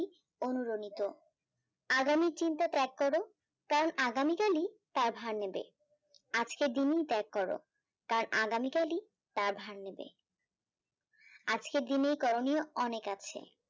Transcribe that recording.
অনুরমিত আগামী চিন্তা ত্যাগ করো কারণ আগামী কালই তা ভাঙবে আজকের দিনই ত্যাগ করো কারণ আগামী কালই টি ভাঙবে আজকের দিনের করণীয় অনেক আছে